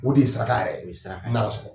O de ye saraka yɛrɛ ye, saraka yɛrɛ, n'a y'a sɔrɔ.